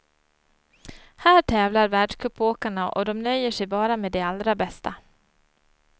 Här tävlar världscupsåkarna och de nöjer sig bara med det allra bästa.